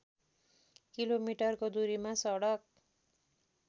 किलोमिटरको दुरीमा सडक